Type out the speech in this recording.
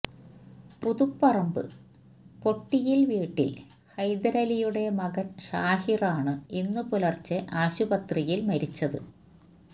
പുതുപ്പറമ്പ് പൊട്ടിയില് വീട്ടില് ഹൈദരലിയുടെ മകന് ഷാഹിറാണ് ഇന്ന് പുലര്ച്ചെ ആശുപത്രിയില് മരിച്ചത്